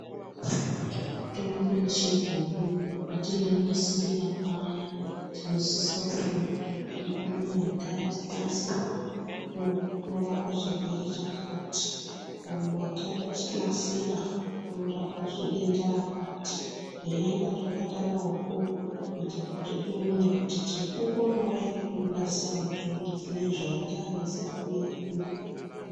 Mitombo yechibhoyi patinoinasirira paya tinosisa kuona kuti mutombo unowu watanasira unorapa chirwere chakati uyu watanasira unorapazve denda rakati zveienda zvakadaroko kuitira kuti tione kuti tinokukonawo ere kuunasira mutombo dzine zvaita ana sekuru edu.